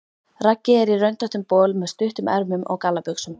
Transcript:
Raggi er í röndóttum bol með stuttum ermum og gallabuxum.